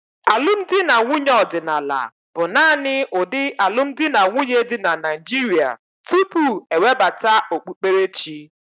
Alụmdi na nwunye ọdịnala bụ naanị ụdị alụmdi na nwunye dị na Naịjirịa tupu e webata okpukperechi.